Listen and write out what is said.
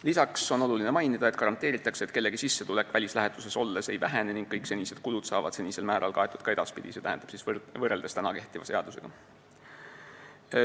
Lisaks on oluline mainida, et garanteeritakse, et kellegi sissetulek välislähetuses olles ei vähene ning kõik senised kulud saavad senisel määral kaetud ka edaspidi, st võrreldes kehtiva seadusega.